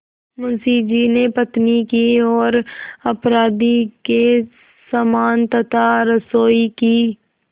मुंशी जी ने पत्नी की ओर अपराधी के समान तथा रसोई की